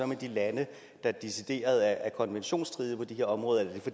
med de lande der decideret handler konventionsstridigt på de her områder